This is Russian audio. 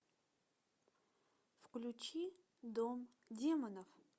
включи дом демонов